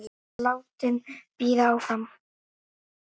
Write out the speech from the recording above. Þau eru látin bíða áfram.